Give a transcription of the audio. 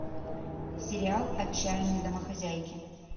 сериал отчаянные домохозяйки